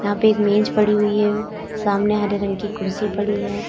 यहां पे एक मेज पड़ी हुई है सामने हरे रंग की कुर्सी पड़ी है।